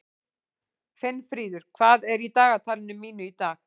Finnfríður, hvað er í dagatalinu mínu í dag?